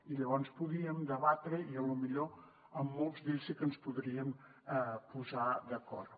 i llavors podríem debatre i potser en molts d’ells sí que ens podríem posar d’acord